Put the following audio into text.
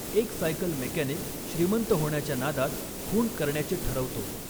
एक cycle mechanic श्रीमंत होण्याच्या नादात खून करण्याचे ठरवतो.